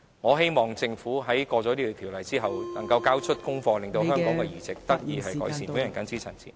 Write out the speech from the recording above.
我希望政府在通過《條例草案》後，能夠交出功課，令到香港的器官移植情況得以改善。